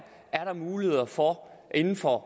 er der muligheder for inden for